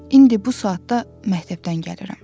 İndi bu saatda məktəbdən gəlirəm.